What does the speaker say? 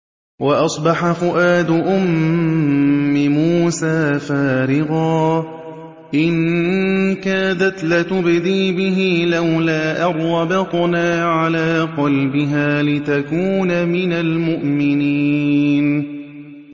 وَأَصْبَحَ فُؤَادُ أُمِّ مُوسَىٰ فَارِغًا ۖ إِن كَادَتْ لَتُبْدِي بِهِ لَوْلَا أَن رَّبَطْنَا عَلَىٰ قَلْبِهَا لِتَكُونَ مِنَ الْمُؤْمِنِينَ